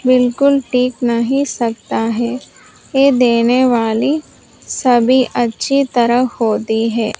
बिल्कुल टिक नहीं सकता है ये देने वाली सभी अच्छी तरह होती है।